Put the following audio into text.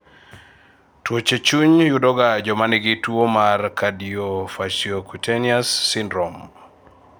tuoche chuny yudoga jomanigi tuwo mar cardiofaciocutaneous syndrome.